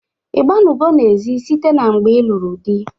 I gbanugo n'ezi site na mgbe ịlụrụ dị?